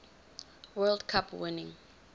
world cup winning